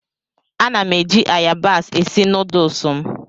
Ana m eji ayabas esi nuduls m.